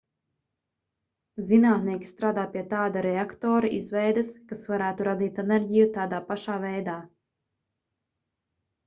zinātnieki strādā pie tāda reaktora izveides kas varētu radīt enerģiju tādā pašā veidā